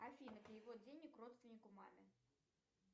афина перевод денег родственнику маме